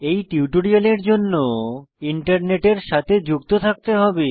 এই টিউটোরিয়ালের জন্য ইন্টারনেটের সাথে যুক্ত থাকতে হবে